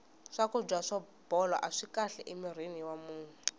swakudya swo bola aswi kahle eka mirhi wa munhu